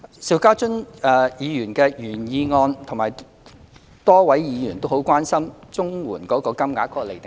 邵家臻議員的原議案及多位議員均關心綜援金額的釐定機制。